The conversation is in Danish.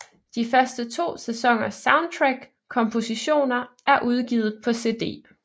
De første to sæsoners soundtrackkompositioner er udgivet på cd